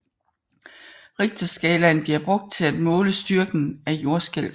Richterskalaen bliver brugt til at måle styrken af jordskælv